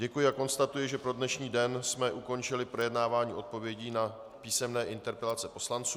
Děkuji a konstatuji, že pro dnešní den jsme ukončili projednávání odpovědí na písemné interpelace poslanců.